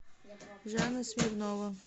жанна смирнова